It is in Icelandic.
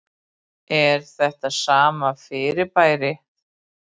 Er þetta sama fyrirbærið?